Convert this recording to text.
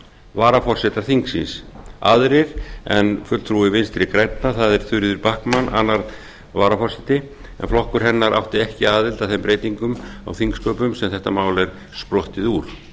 varaforsetar þingsins aðrir en fulltrúi vinstri grænna það er þuríður backman annar varaforseti en flokkur hennar átti ekki aðild að þeim breytingum á þingsköpum sem þetta mál er sprottið úr